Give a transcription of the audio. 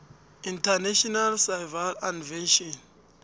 international civil aviation